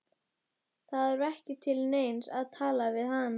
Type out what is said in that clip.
Það var ekki til neins að tala við hann.